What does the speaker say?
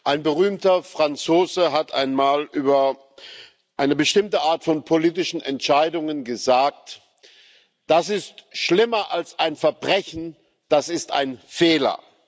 Ein berühmter Franzose hat einmal über eine bestimmte Art von politischen Entscheidungen gesagt Das ist schlimmer als ein Verbrechen, das ist ein Fehler.